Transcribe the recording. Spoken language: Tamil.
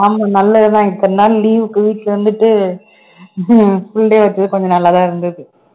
ஆமா நல்லதுதான் இத்தனை நாள் leave க்கு வீட்டுல இருந்துட்டு full day வச்சது கொஞ்சம் நல்லாதான் இருந்தது